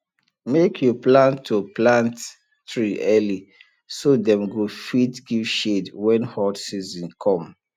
make you plan to plant tree early so dem go fit give shade when hot season come